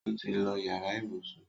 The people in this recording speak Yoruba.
ọ tí ló yàrá ibùsùn.